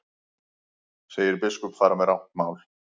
Segir biskup fara með rangt mál